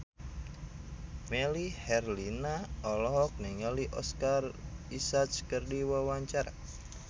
Melly Herlina olohok ningali Oscar Isaac keur diwawancara